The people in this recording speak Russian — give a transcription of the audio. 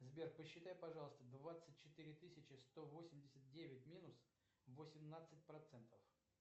сбер посчитай пожалуйста двадцать четыре тысячи сто восемьдесят девять минус восемнадцать процентов